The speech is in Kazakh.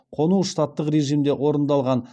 қону штаттық режимде орындалған